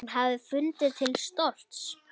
Hún hefði fundið til stolts.